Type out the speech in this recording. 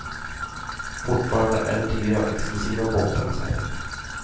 Fortfarande är det dyra och exklusiva båtar vi säljer.